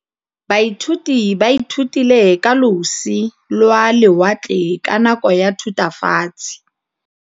Baithuti ba ithutile ka losi lwa lewatle ka nako ya Thutafatshe.